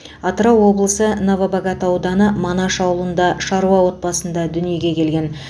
атырау облысы новобогат ауданы манаш ауылында шаруа отбасында дүниеге келген